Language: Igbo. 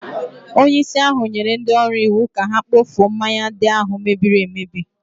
Onyeisi ahụ nyere ndị ọrụ iwu ka ha kpofuo mmanya ndị ahụ mebiri emebi